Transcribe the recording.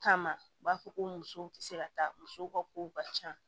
Kama u b'a fɔ ko musow tɛ se ka taa musow ka kow ka ca